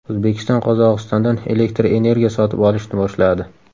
O‘zbekiston Qozog‘istondan elektr energiya sotib olishni boshladi.